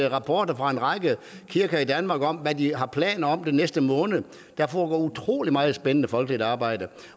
rapporter fra en række kirker i danmark om hvad de har planer om den næste måned og der foregår utrolig meget spændende folkeligt arbejde